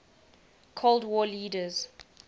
cold war leaders